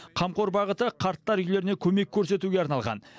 қамқор бағыты қарттар үйлеріне көмек көрсетуге арналған